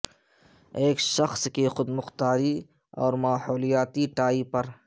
ایک شخص کی خود مختاری اور ماحولیاتی ٹائی پر